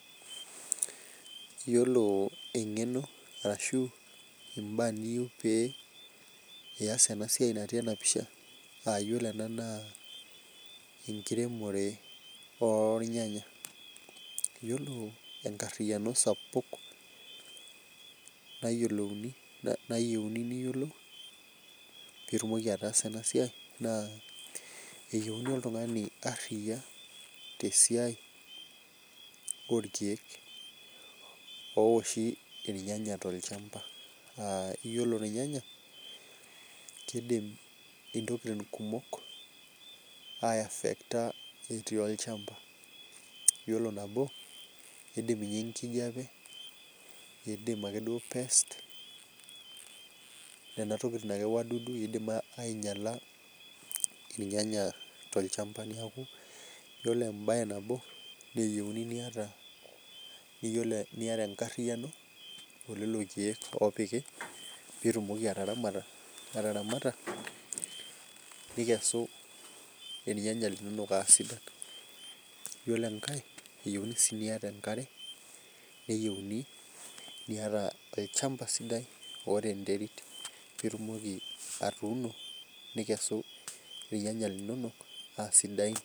Yiolo engeno ashu mbaa niyieu pee iyas ena siai natii ena pisha ,na yiolo ena naa enkiremore ornyanya .Yiolo enkariano sapuk nayieuni nayiolou pee itumoki ataasa ena siai, naa eyieuni oltungani aria tesiai orkeek oowoshi irnyanya tolchampa .Yiolo irnyanya ,keidim ntokiting kumok aiafector etii olchampa ,yiolo nabo keidim ninye enkijepe ,keidim ake pest nina wadudu akeyie keidim ainyala irnyanya tolchampa neeku yiolo embae nabo nayieuni niyata ,naa enkariano elelo keek opiki pee itumoki ataramata ,nikesu irnyanya linonok aa sidain .Yiolo enkae eyieuni sii niyata enkare ,niyata olchampa sidai oota enterit pee itumoki atuuno ninkesu irnyanya linonok aa sidain.